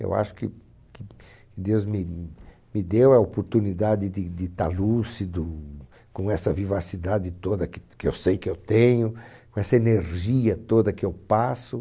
Eu acho que que que Deus me me deu a oportunidade de de estar lúcido, com essa vivacidade toda que que eu sei que eu tenho, com essa energia toda que eu passo.